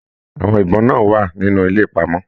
Àwọn ibọn náà wà nínú ilé ìpamọ.